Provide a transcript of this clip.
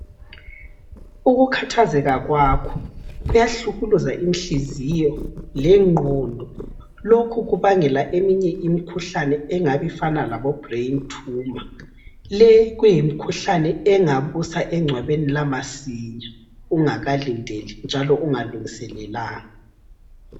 Ukukhathazeka kwakho kuyahlukuluza inhliziyo lengqondo. Lokhu kubangela imikhuhlane efana labo brain tumor. Le kuyimikhuhlane engakusa engcwabeni lamasinya ungakalindeli njalo ungalungiselelanga.